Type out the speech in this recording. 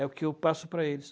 É o que eu passo para eles.